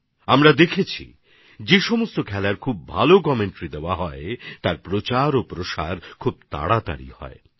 আমরা দেখেছি যেসব খেলার ধারাভাষ্য সমৃদ্ধ সেই খেলার প্রচারপ্রসার অনেক দ্রুত হয়ে থাকে